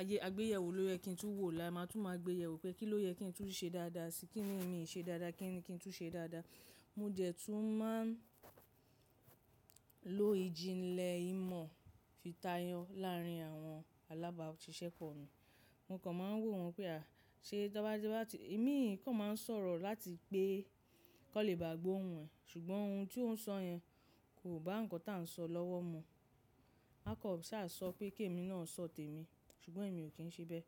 ayé àgbéyẹ̀wò ló yẹ kí n tún wò ó lá. Máa tún máa gbéyẹ̀wò pé kí ló yẹ kí n tún ṣe dáadáa síi, kí ni mi ṣe dáadáa, kí ni kí n tún ṣe dáadáa. Mo dé tún máa ń lo ìjìnlẹ̀ ìmọ̀ fi tayọ láàárín àwọn alábáàṣiṣẹ́ pọ̀ mi. Mo kàn máa ń wò wọ́n pé à, ṣe tọ́ bá ti bá ti, imi kàn máa ń sọ̀rọ̀ láti pé kọ́ lè bá gbó ohun ẹ, ṣùgbọ́n ohun tí ó ń sọ yẹn kò bá nǹkan tí à ń sọ lọ́wọ́ mu. À kò sá sọ pé kémi náà sọ tèmi, ṣùgbọ́n èmi ò kí ń ṣe bẹ́.